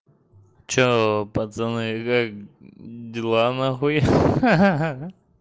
что пацаны как дела нахуй ха-ха